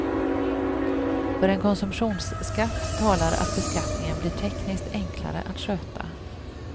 För en konsumtionsskatt talar att beskattningen blir tekniskt enklare att sköta.